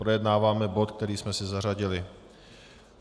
Projednáváme bod, který jsme si zařadili.